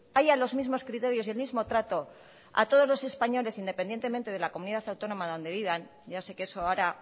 haya los mismos criterios y el mismo trato a todos los españoles independientemente de la comunidad autónoma donde vivan ya sé que eso ahora